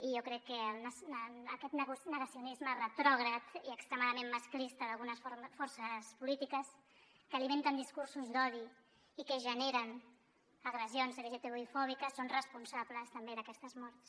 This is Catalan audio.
i jo crec que aquest negacionisme retrògrad i ex·tremadament masclista d’algunes forces polítiques que alimenten discursos d’odi i que generen agressions lgtbi·fòbiques són responsables també d’aquestes morts